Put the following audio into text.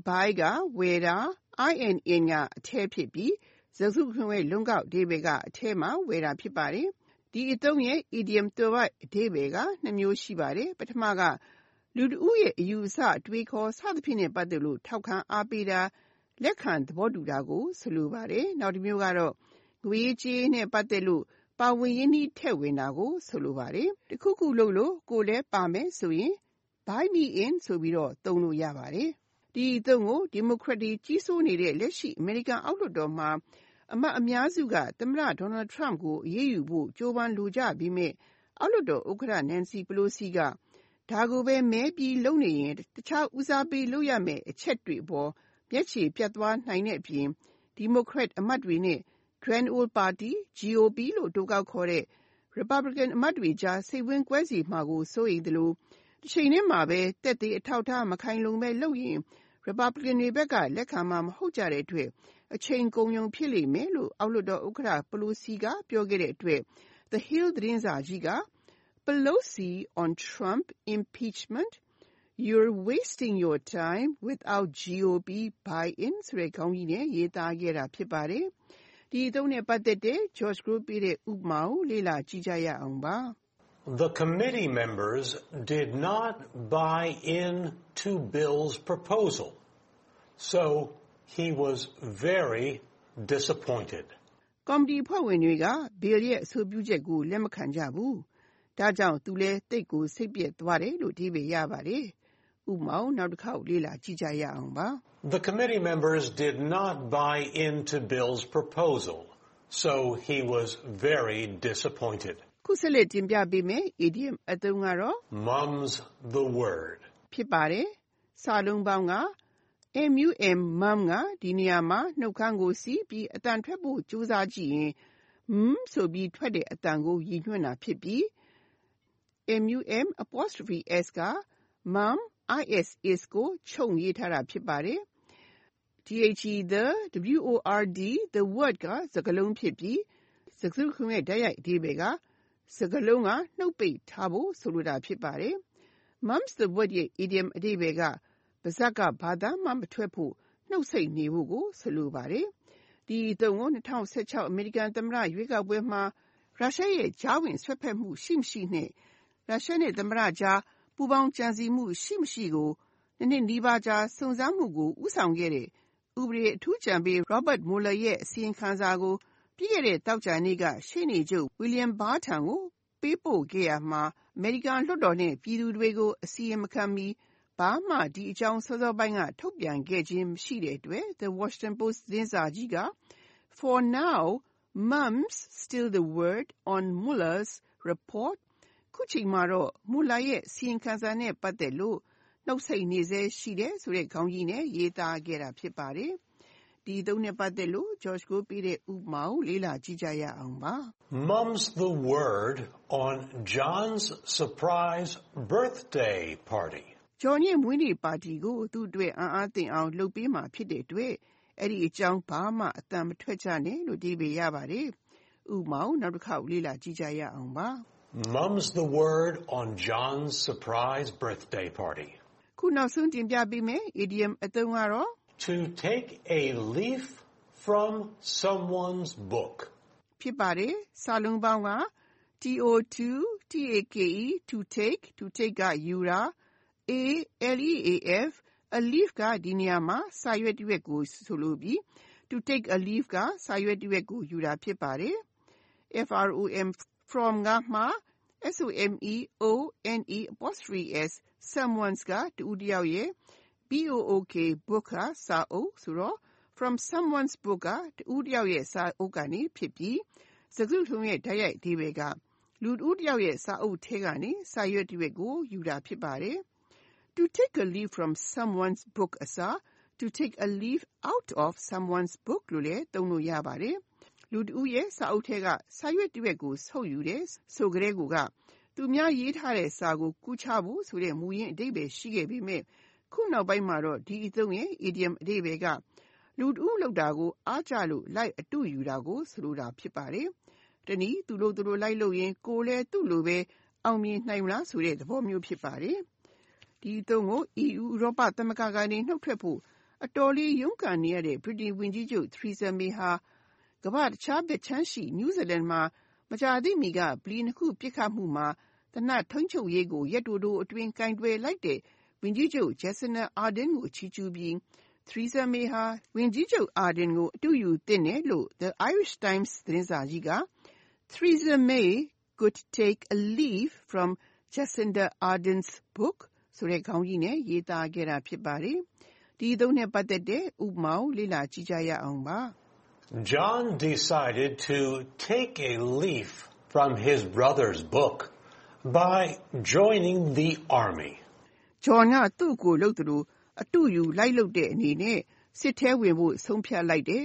Buy (ဝယ်တာ)၊ in (အထဲ ) ဖြစ်ပြီး စကားစုတခုလုံးရဲ့ လုံးကောက်အဓိပ္ပါယ်က အထဲမှာဝယ်တာဖြစ်ပါတယ်။ ဒီအသုံးရဲ့ဲ့ Idiom သွယ်ဝိုက်အဓိပ္ပါယ်ကနှစ်မျိုးရှိပါတယ်။ ပထမက လူတဦးရဲ့အယူအဆ အတွေးအခေါ် စဖြင့်နဲ့ပတ်သက်လို့ ထောက်ခံအားပေးတာ၊ လက်ခံသဘောတူတာကိုဆိုလိုပါတယ်။ နောက်တမျိုးက ငွေရေးကြေးရေးနဲ့ပတ်သက်လို့် ပါဝင်ရင်းနှီးထည့်ဝင်တာကိုဆိုလိုပါတယ်။ တခုခုလုပ်လို့ကိုယ်လဲဝင်ပါမယ်ဆိုရင် “ Buy me in “ လို့ ပြောနိုင်ပါတယ်။ ဒီအသုံးကို ဒီမိုကရက်တွေကြီးစိုးနေတဲ့လက်ရှိ အမေရိကန်အောက်လွှတ်တော်မှာ အမတ်အများစုက သမတ Donald Trump ကို အရေးယူဖို့ကြိုးပမ်းလိုကြပေမဲ့ အောက်လွှတ်တော် ဥက္ကဌ Nancy Pelosi က ဒါကိုဘဲမဲပြီးလုပ်ရင်တခြားဦးစားပေးလုပ်ရမဲ့အချက်တွေအပေါ်မျက်ချေပြတ်သွားနိုင်တဲ့အပြင် Democrat အမတ်တွေနဲ့ Grand Old Party (GOP) လို့အတိုကောက်ခေါ်တဲ့ Republican အမတ်တွေကြားလဲစိတ်ဝမ်းကွဲစေမှာကိုစိုးရိမ်သလို တချိန်ထဲမှာဘဲ သက်သေအထောက်အထားမခိုင်လုံဘဲလုပ်ရင် Republicans တွေကလက်ခံမှာမဟုြတ်ကတဲ့အတွက် အချိန်ကုန်ရုံဖြစ်လိမ့်လို့ အောက်လွှတ်တော်ဥက္ကဌ Pelosi ကပြောခဲ့တဲ့အတွက် The Hill သတင်းစာကြီးက“Pelosi on Trump impeachment: You're wasting your time without GOP buy-in” ဆိုတဲ့ ခေါင်းကြီးနဲ့ ရေးသားခဲ့တာ ဖြစ်ပါတယ်။ ဥပမာ The committee members did not “buy in” to Bill’s proposal, so he was very disappointed. ကော်မတီအဖွဲ့ဝင်တွေက Bill ရဲ့ အဆိုပြုချက်ကိုလက်မခံကြဘူး၊ ဒါ့ကြောင့်သူလည်းသိပ်ကိုစိတ်ပျက်သွားတယ်။ (၂) Mum’s the Word Mum (ကဒီနေရာမှာနှုတ်ခမ်းကိုစေ့ပြီး အသံထွက်ဖို့ ကြိုးစားကြည့်ရင် Mmmmm ဆိုပြီးထွက်တဲ့အသံကိုရည်ညွှန်းတာဖြစ်ပြီး)၊ Mum’s က Mum is ကို ချုံ့ ရေးထားတာဖြစ်ပါတယ်။ The word (စကားလုံး) ဖြစ်ပြီး၊ စကားစုတခုလုံးရဲ့ တိုက်ရိုက်အဓိပ္ပါယ်က စကားလုံးကနှုတ်ပိတ်ထားဖို့ဆိုလိုတာ ဖြစ်ပါတယ်။ Mum’s the word ရဲ့ အီဒီယံအဓိပ္ပါယ်က ပါးစပ်ကဘာမှအသံမထွက်ဖို့၊ နှုတ်ဆိတ်နေဖို့ကို ဆိုလိုပါတယ်။ ဒီအသုံးကို ၂၀၁၆ အမေရိကန်သမတရွေးကောက်ပွဲမှာ ရုရှားရဲ့ကြားဝင်စွက်ဖက်မှုရှိ ၊ မရှိ အပြင်သမ္မတ Donald Trump နဲ့ရုရှားကြား ပူးပေါင်းကြံစည်မှုရှိ ၊ မရှိ ကို ၂နှစ်နီးပါးကြာစုံစမ်းမှုကို ဦးဆောင်ခဲ့တဲ့ဥပဒေအထူးအကြံပေး Robert Mueller ရဲ့အစီရင်ခံစာကို ပြီးခဲ့တဲ့ သောကြာနေ့က ရှေ့နေချုပ် William Barr ထံကိုပေးပို့ခဲ့ရာမှာအမေရိကန်လွှတ်တော်နဲ့ပြည်သူတွေကို အစီရင်မခံမီ၊ ဘာမှဒီအကြောင်းစောစောပိုင်းက ထုတ်ပြန်ခဲ့ခြင်းမရှိတဲ့အတွက် The Washington Post သတင်းစာကြီးက “For now, mum’s still the word on Mueller’s Report “ ခုချိန်မှာတော့ Muellerရဲ့အစီရင်ခံစာနဲ့ပတ်သက်လို့ နှုတ်ဆိတ်နေဆဲရှိတယ်ဆိုတဲ့ခေါင်းကြီးနဲ့ရေးသားခဲ့တာဖြစ်ပါတယ်။ ဥပမာ Mum’s the word on John’s surprise birthday party! John ရဲ့ မွေးနေ့ပါတီကို သူ့အတွက် အံ့အားသင့်အောင် လုပ်ပေးမှာဖြစ်တဲ့အတွက် အဲဒီအကြောင်းဘာသံမှမထွက်ကြနဲ့။ (၃) To take a leaf from someone’s book To take a leaf (စာရွက်တရွက်ကိုယူတာ)၊ from someone’s book (တဦးတယောက်ရဲ့ စာအုပ်ကနေ)ဖြစ်ပြီး စကားစုတခုလုံးရဲ့ တိုက်ရိုက်အဓိပ္ပါယ်က လူတဦးတယောက်ရဲ့စာအုပ်ထဲကစာရွက်တရွက်ကိုယူတာ ဖြစ်ပါတယ်။ To take a leaf from someone’s book အစား To take a leaf out of someone’s book လို့လဲသုံးလို့ရပါတယ်။ လူတဦးရဲ့စာအုပ်ထဲကစာရွက်တရွက်ယူတယ်ဆိုတာက၊ သူများရေးထားတဲ့စာကိုကူးချဖို့ဆိုတဲ့မူရင်းအဓိပ္ပါယ်ရှိ ခဲ့ပေမဲ့၊ ခုနောက်ပိုင်းမှာ ဒီအသုံးရဲ့ အီဒီယံအဓိပ္ပါယ်က လူတဦးလုပ်တာကိုအားကျလို့လိုက်အတုယူတာကိုဆိုလိုပါတယ်။ တနည်း သူလုပ်သလိုလိုက်လုပ်ရင်ကိုယ်လဲသူ့လိုဘဲအောင်မြင်နိုင်မလားဆိုတဲ့သဘောဖြစ်ပါတယ်။ ဒီအသုံးကို EU ဥရောပသမ၈္ဂကနေ နှုတ်ထွက်ဖို့ အတော်လေးရုန်းကန်နေရတဲ့ ဗြိတိန် ဝန်ကြီးးချုပ် Therersa May ဟာကမ္ဘာ့တခြားဘက်ခြမ်းရှိ New Zealand မှာ မကြာသေးမီက ဗလီ ၂ ခုပစ်ခတ်မှု မှာ သေနတ်ထိန်းချုပ်ရေးကိုရက်တိုတိုအတွင်းကိုင်တွယ်လိုက်တဲ့ ဝန်ကြီးချုပ် Jacinda Ardern ကို ချီးကျူး ပြီး ၊ Theresa May ဟာ Jacinda Ardern ကို အတုယူသင့်တယ်လို့ The Irish Times သတင်းစာကြီးက “Theresa May could take a leaf from Jacinda Ardern’s book” ဆိုတဲ့ခေါင်းကြီးနဲ့ရေးသားခဲ့ကြတာ ဖြစ်ပါတယ်။ ဥပမာ John decided to take a leaf from his brother’s book by joining the army. John က သူ့အစ်ကိုလုပ်သလိုလိုက်ပြီးအတုယူတဲ့အနေနဲ့စစ်ထဲဝင်ဖို့ဆုံးဖြတ်လိုက်တယ်